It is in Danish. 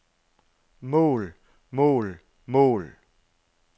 mål mål mål